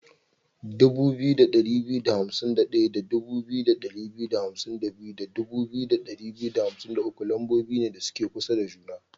2251 da 2252 da 2253 lambobi ne da suke kusa da juna.